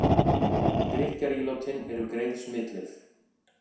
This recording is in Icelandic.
Drykkjarílátin eru greið smitleið